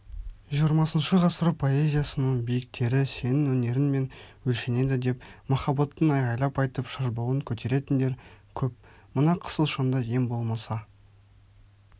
жиырмасыншы ғасыр поэзиясының биіктері сенің өнерінмен өлшенеді деп махаббатын айғайлап айтып шашбауын көтеретіндер көп мына қысылшаңда ең болмаса